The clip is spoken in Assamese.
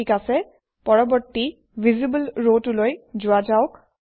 ঠিক আছে পৰৱৰ্তী ভিচিবল ৰটোলৈ যোৱা যাওক